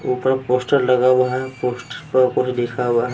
ऊपर पोस्टर लगा हुआ है पोस्टर पर कुछ लिखा हुआ है।